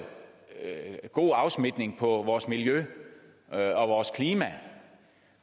en god afsmittende virkning på vores miljø og vores klima